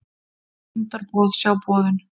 Fundarboð, sjá boðun